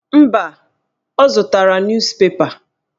Mba, ọ zụtara nus pepa.